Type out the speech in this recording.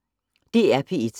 DR P1